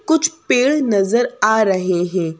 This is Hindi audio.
कुछ पेड़ नजर आ रहे हैं।